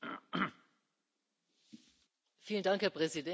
Herr Präsident, Herr Kommissar, liebe Kolleginnen und Kollegen!